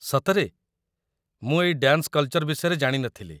ସତରେ! ମୁଁ ଏଇ ଡ୍ୟାନ୍ସ କଲ୍‌ଚର୍ ବିଷୟରେ ଜାଣିନଥିଲି ।